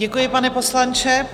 Děkuji, pane poslanče.